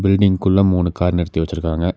பில்டிங்குள்ள மூணு கார் நிறுத்தி வச்சிருக்காங்க.